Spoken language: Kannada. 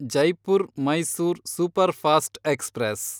Jaipur Mysore superfast express